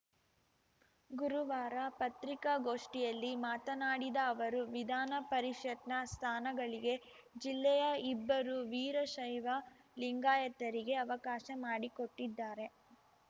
ಗುರುವಾರ ಪತ್ರಿಕಾಗೋಷ್ಠಿಯಲ್ಲಿ ಮಾತನಾಡಿದ ಅವರು ವಿಧಾನಪರಿಷತ್‌ನ ಸ್ಥಾನಗಳಿಗೆ ಜಿಲ್ಲೆಯ ಇಬ್ಬರು ವೀರಶೈವ ಲಿಂಗಾಯತರಿಗೆ ಅವಕಾಶ ಮಾಡಿಕೊಟ್ಟಿದ್ದಾರೆ